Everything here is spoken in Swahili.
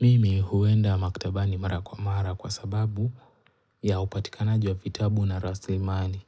Mimi huenda maktabani mara kwa mara kwa sababu ya upatikanaji wa vitabu na raslimani,